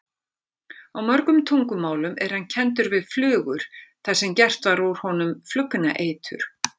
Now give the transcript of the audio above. Á mörgum tungumálum er hann kenndur við flugur þar sem gert var úr honum flugnaeitur.